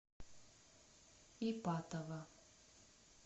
ипатово